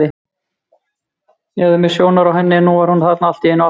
Ég hafði misst sjónar á henni en nú var hún þarna allt í einu aftur.